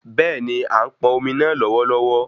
Béèni, a n pọn omi náà lọwọlọwọ